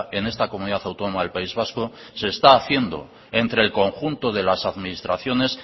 en esta comunidad autónoma del país vasco se está haciendo entre el conjunto de las administraciones